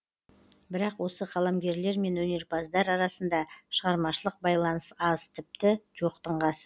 бірақ осы қаламгерлер мен өнерпаздар арасында шығармашылық байланыс аз тіпті жоқтың қасы